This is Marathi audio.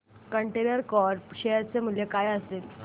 कंटेनर कॉर्प शेअर चे मूल्य काय असेल